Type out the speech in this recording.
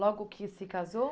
Logo que se casou?